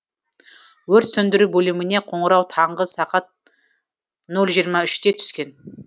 өрт сөндіру бөліміне қоңырау таңғы сағат нөл жиырма үште түскен